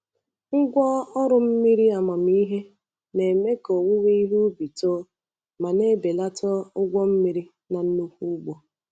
Ngwa ọrụ mmiri amamihe na-eme ka owuwe ihe ubi too ma na-ebelata ụgwọ mmiri na nnukwu ugbo.